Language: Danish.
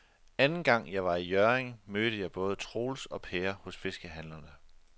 Anden gang jeg var i Hjørring, mødte jeg både Troels og Per hos fiskehandlerne.